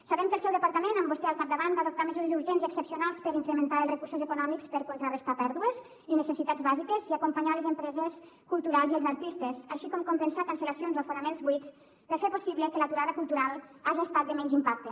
sabem que el seu departament amb vostè al capdavant va adoptar mesures urgents i excepcionals per incrementar els recursos econòmics per contrarestar pèrdues i necessitats bàsiques i acompanyar les empreses culturals i els artistes així com compensar cancel·lacions o aforaments buits per fer possible que l’aturada cultural haja estat de menys impacte